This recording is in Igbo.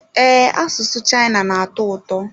Ee, asụsụ China na-atọ ụtọ.